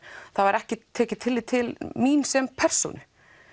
þá er ekkert tekið tillit til mín sem persónu